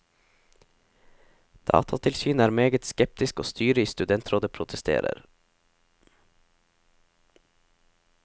Datatilsynet er meget skeptisk og styret i studentrådet protesterer.